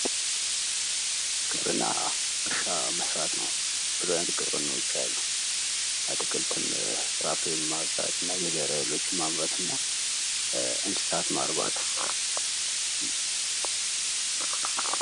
ግብርና እርሻ መስራት ነው። ብዙ አይነት ግብርናወች አሉ። አትክልትም ፍራፍሬም ማፍራት እና እንሣሣት ማርባት።